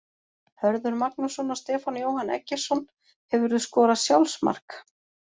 Hörður Magnússon og Stefán Jóhann Eggertsson Hefurðu skorað sjálfsmark?